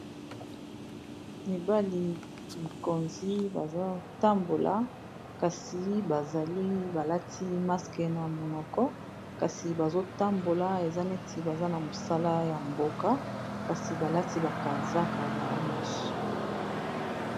Mibali mikonzi bazo tambola kasi bazali balati maske na monoko kasi bazo tambola eza neti baza na mosala ya mboka kasi balati ba kazaka bango nyonso.